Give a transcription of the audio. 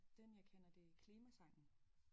Den jeg kender det er klima sangen